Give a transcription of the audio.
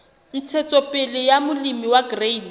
ntshetsopele ya molemi wa grain